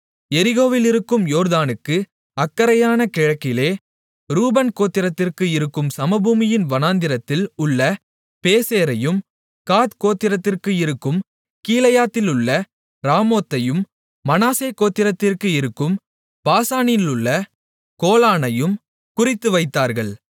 எரிகோவிலிருக்கும் யோர்தானுக்கு அக்கரையான கிழக்கிலே ரூபன் கோத்திரத்திற்கு இருக்கும் சமபூமியின் வனாந்தரத்தில் உள்ள பேசேரையும் காத் கோத்திரத்திற்கு இருக்கும் கீலேயாத்திலுள்ள ராமோத்தையும் மனாசே கோத்திரத்திற்கு இருக்கும் பாசானிலுள்ள கோலானையும் குறித்துவைத்தார்கள்